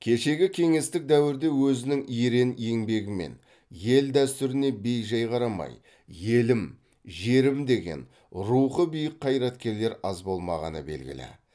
кешегі кеңестік дәуірде өзінің ерен еңбегімен ел дәстүріне бей жай қарамай елім жерім деген рухы биік қайраткерлер аз болмағаны белгілі